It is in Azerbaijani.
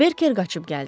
Berker qaçıb gəldi.